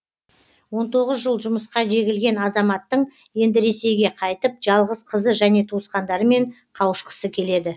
он тоғыз жыл жұмысқа жегілген азаматтың енді ресейге қайтып жалғыз қызы және туысқандарымен қауышқысы келеді